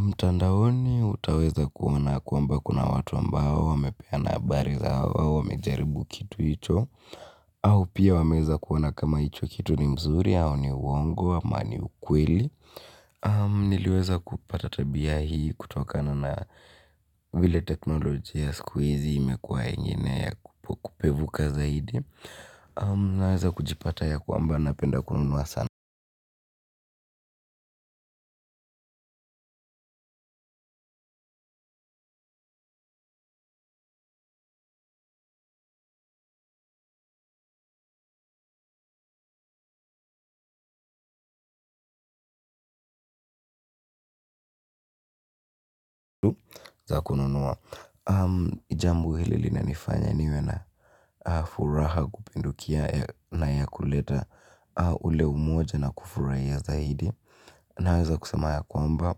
mtandaoni utaweza kuona kwamba kuna watu ambao wamepeana habari zao wamejaribu kitu ito au pia wameeza kuona kama icho kitu ni mzuri au ni uwongo ama ni ukweli. Niliweza kupata tabia hii kutokana na vile teknolojia skuizi imekuwa yenye ya kupevuka zaidi. Naweza kujipata ya kwamba napenda kununua sana. Jambo hili linanifanya niwe na furaha kupindukia na yakuleta ule umoja na kufurahia zaidi. Naweza kusema ya kwamba